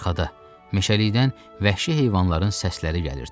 Arxada meşəlikdən vəhşi heyvanların səsləri gəlirdi.